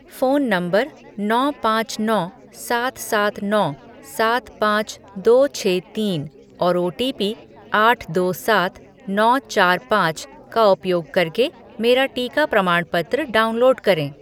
phone number नौ पाँच नौ सात सात नौ सात पाँच दो छः तीन और ओटीपी आठ दो सात नौ चार पाँच का उपयोग करके मेरा टीका प्रमाणपत्र डाउनलोड करें